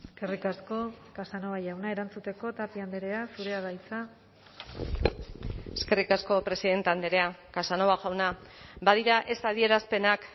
eskerrik asko casanova jauna erantzuteko tapia andrea zurea da hitza eskerrik asko presidente andrea casanova jauna badira ez adierazpenak